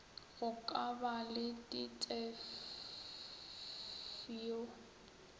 go ka ba le ditefio